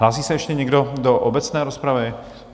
Hlásí se ještě někdo do obecné rozpravy?